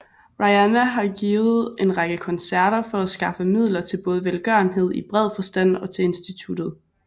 Rihanna har givet en række koncerter for at skaffe midler til både velgørenhed i bred forstand og til instituttet